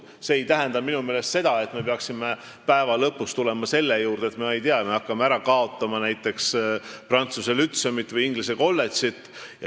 See ei tähenda minu meelest seda, et me peaksime lõpuks jõudma selleni, et me hakkame ära kaotama näiteks prantsuse lütseumit või inglise kolledžit.